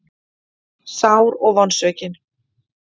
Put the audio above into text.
Sár og vonsvikin.